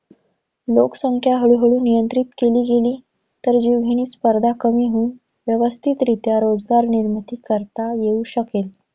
लोकसंख्या हळूहळू नियंत्रित केली गेली, तर जीवघेणी स्पर्धा कमी होऊन व्यवस्थितरीत्या रोजगार निर्मिती करता येऊ शकेल.